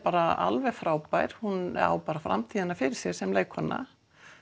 alveg frábær hún á bara framtíðina fyrir sér sem leikkona